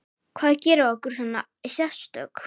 Hvað gerir okkur svona sérstök?